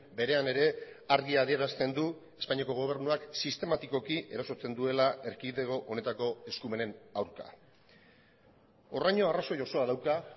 berean ere argi adierazten du espainiako gobernuak sistematikoki erasotzen duela erkidego honetako eskumenen aurka horraino arrazoi osoa dauka